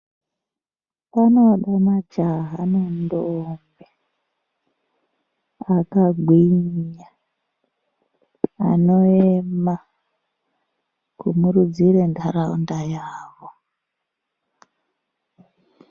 Panode majaha nentombi akagwinya anoema kumurudzire ntaraunda yavo.